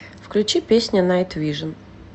включи песня найтвижн